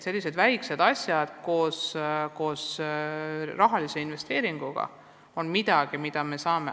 Sellised väikesed asjad on midagi, mida me teha saame.